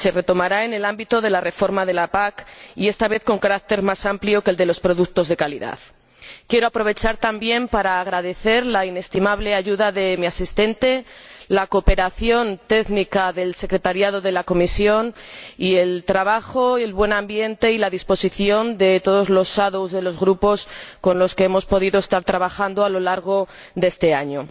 se retomará en el ámbito de la reforma de la PAC, y esta vez con carácter más amplio que en relación con los productos de calidad. Quiero aprovechar la oportunidad también para agradecer la inestimable ayuda de mi asistente, la cooperación técnica del secretariado de la Comisión, y el trabajo, el buen ambiente y la disposición de todos los ponentes alternativos de los Grupos con los que hemos podido trabajar a lo largo de este año.